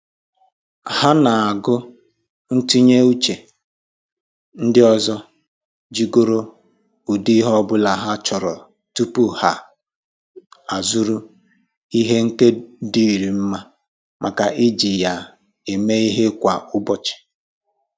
Ha na-agụ ntụnye uche ndị ọzọ jigoro ụdị ihe ọbụla ha chọrọ tupu ha azụrụ ihe nkedo dịịrị mma maka iji ya eme ihe kwa ụbọchị